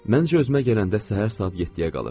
Məncə özümə gələndə səhər saat 7-yə qalırdı.